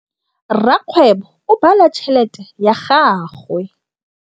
Rakgwêbô o bala tšheletê ya gagwe.